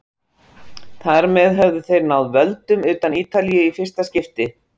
Þar með höfðu þeir náð völdum utan Ítalíu í fyrsta skipti.